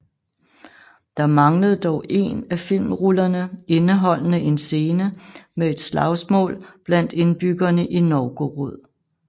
Der manglede dog én af filmrullerne indeholdende en scene med et slagsmål blandt indbyggerne i Novgorod